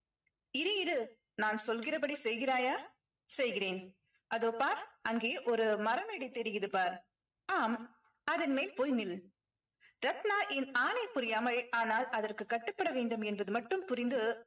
இரு இரு நான் சொல்கிறபடி செய்கிறாயா செய்கிறேன் அதோ பார் அங்கே ஒரு மரமேடை தெரியுது பார் ஆம் அதன் மேல் போய் நில் ரத்னா என் ஆணை புரியாமல் ஆனால் அதற்கு கட்டுப்பட வேண்டும் என்பது மட்டும் புரிந்து